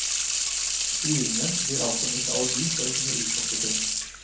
Skrivingen blir altså mitt alibi for å kunne utforske ting.